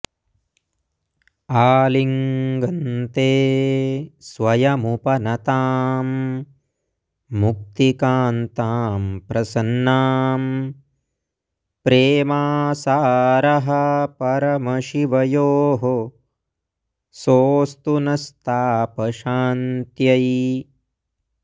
आलिङ्गन्ते स्वयमुपनतां मुक्तिकान्तां प्रसन्नां प्रेमासारः परमशिवयोः सोऽस्तु नस्तापशान्त्यै